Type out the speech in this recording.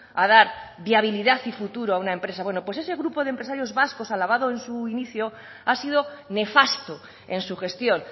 a dar viabilidad y futuro a una empresa bueno pues ese grupo de empresarios vascos alabado en su inicio ha sido nefasto en su gestión